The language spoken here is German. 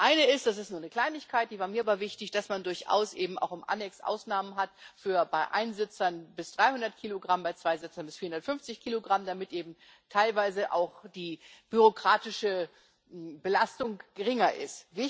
Das eine ist das ist nur eine Kleinigkeit, die war mir aber wichtig dass man durchaus eben auch im Annex Ausnahmen hat bei Einsitzern bis 300 Kilogramm, bei Zweisitzern bis 450 Kilogramm, damit eben teilweise auch die bürokratische Belastung geringer ist.